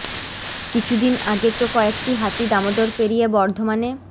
কিছু দিন আগে তো কয়েকটি হাতি দামোদর পেরিয়ে বর্ধমানে